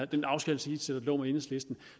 den aftaleskitse der lå med enhedslisten